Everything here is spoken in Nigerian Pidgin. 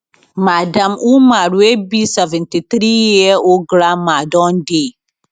madam umar wey be 73 year old grandma don dey